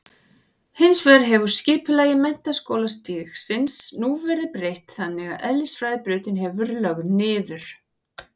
Hins vegar hefur skipulagi menntaskólastigsins nú verið breytt þannig að eðlisfræðibrautin hefur verið lögð niður.